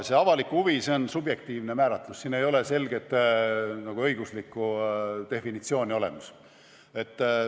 See avalik huvi on subjektiivne määratlus, siin ei ole selget õiguslikku definitsiooni olemas.